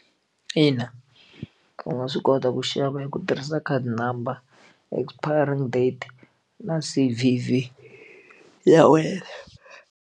Ina u nga swi kota ku xava hi ku tirhisa khadi number expiring date na C_V_V ya wena.